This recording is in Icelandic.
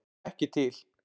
Ekki til!